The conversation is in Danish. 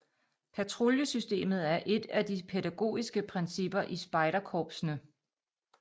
Patruljesystemet er et af de pædagogiske principper i spejderkorpsene